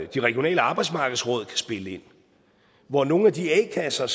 de regionale arbejdsmarkedsråd kan spille ind hvor nogle af de a kasser